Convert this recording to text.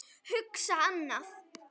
Hugsa annað.